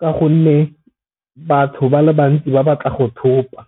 ka gonne batho ba le bantsi ba ba tla go thopa.